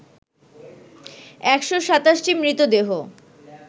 ১২৭ টি মৃতদেহ